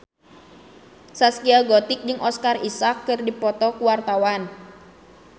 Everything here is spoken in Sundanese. Zaskia Gotik jeung Oscar Isaac keur dipoto ku wartawan